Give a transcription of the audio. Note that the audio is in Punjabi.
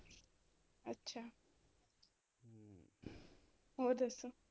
ਹੋਰ ਦੱਸੋ